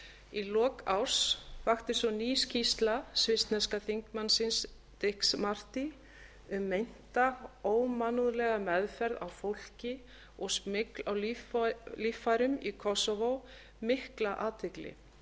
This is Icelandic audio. í lok árs vakti svo ný skýrsla svissneska þingmannsins dicks marty um meinta ómannúðlega meðferð á fólki og smygl á líffærum í kósóvó mikla athygli